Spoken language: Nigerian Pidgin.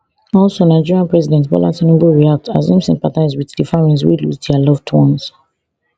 also nigeria president bola tinubu react as im sympathise wit di families wey lose dia loved ones